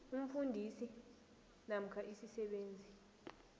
umfundisi namkha isisebenzi